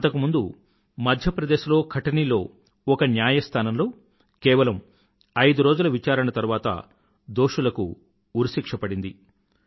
అంతకు ముందు మధ్యప్రదేశ్ లో కఠనీ లో ఒక న్యాయాస్థానంలో కేవలం ఐదు రోజుల విచారణ తరువాత దోషులకు ఉరిశిక్ష పడింది